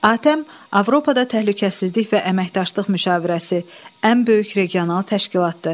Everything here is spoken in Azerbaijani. ATƏM Avropada Təhlükəsizlik və Əməkdaşlıq Müşavirəsi ən böyük regional təşkilatdır.